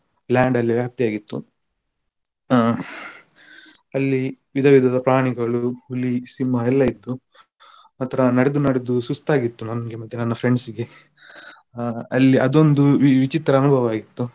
Land ಅಲ್ಲಿ ವ್ಯಾಪ್ತಿಯಾಗಿತ್ತು ಆಹ್ ಅಲ್ಲಿ ವಿಧ ವಿಧದ ಪ್ರಾಣಿಗಳು ಹುಲಿ, ಸಿಂಹ ಎಲ್ಲ ಇತ್ತು ಮಾತ್ರ ನಡ್ದು ನಡ್ದು ಸುಸ್ತಾಗಿತ್ತು ನನ್ಗೆ ಮತ್ತೆ ನನ್ನ friends ಗೆ ಆಹ್ ಅಲ್ಲಿ ಅದೊಂದು ವಿ~ ವಿಚಿತ್ರ ಅನುಭವ ಇತ್ತು.